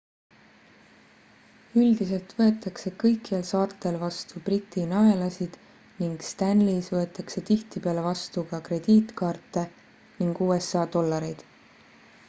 üldiselt võetakse kõikjal saartel vastu briti naelasid ning stanleys võetakse tihtipeale vastu ka krediitkaarte ning usa dollareid